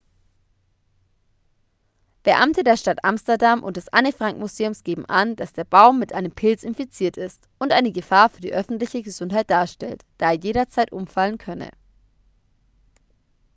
beamte der stadt amsterdam und des anne-frank-museums geben an dass der baum mit einem pilz infiziert ist und eine gefahr für die öffentliche gesundheit darstellt da er jederzeit umfallen könne